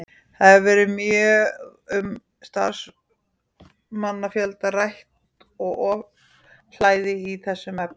Það hefur verið mjög um starfsmannafjölda rætt og ofhlæði í þeim efnum.